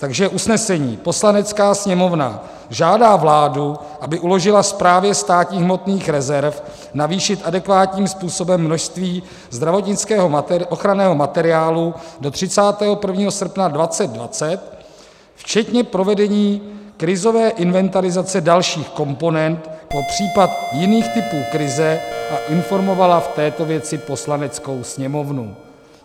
Takže usnesení: "Poslanecká sněmovna žádá vládu, aby uložila Správě státních hmotných rezerv navýšit adekvátním způsobem množství zdravotnického ochranného materiálu do 31. srpna 2020, včetně provedení krizové inventarizace dalších komponent pro případ jiných typů krize, a informovala v této věci Poslaneckou sněmovnu."